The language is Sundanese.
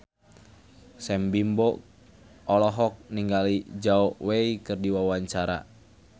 Sam Bimbo olohok ningali Zhao Wei keur diwawancara